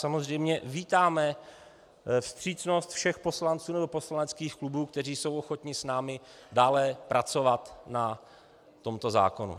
Samozřejmě vítáme vstřícnost všech poslanců nebo poslaneckých klubů, kteří jsou ochotni s námi dále pracovat na tomto zákoně.